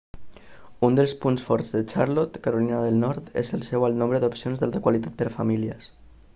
un dels punts forts de charlotte carolina del nord és el seu alt nombre d'opcions d'alta qualitat per a famílies